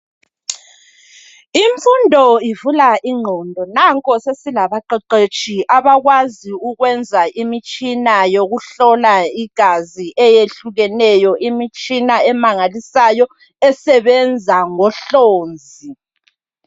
Imfundo ivula ingqondo nanko sesilabaqeqetshi abakwazi ukwenza imitshina yokuhlola igazi eyehlukeneyo, imitshina emangalisayo esebenza ngohlonzi.